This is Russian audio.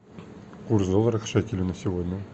курс доллара к шекелю на сегодня